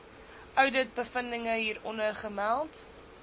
ouditbevindinge hieronder gemeld